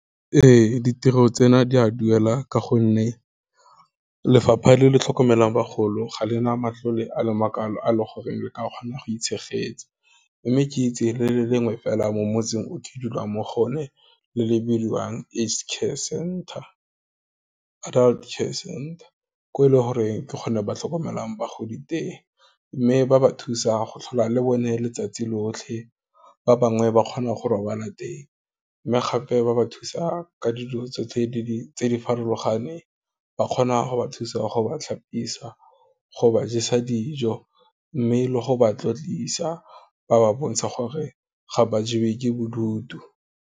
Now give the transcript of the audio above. Ee, ditiro tsena, di a duela ka gonne, lefapha le le tlhokomelang bagolo, ga lena matlole a le makwalo a le goreng le ke a kgona go itshegetsa, mme ke itse le le lengwe fela mo motseng o ke dulang mo go o ne le le bidiwang, Adult Care Center, ko e leng gore ke kgone ba tlhokomelang bagodi teng, mme ba ba thusa go tlhola le bone letsatsi lotlhe, ba bangwe ba kgona go robala teng, mme gape ba ba thusa ka dilo tsotlhe tse di farologaneng, ba kgona go ba thusa go ba tlhapisa, go ba jesa dijo, mme le go ba tlotlisa, ba ba bontshe gore ga ba jewe ke bodutu.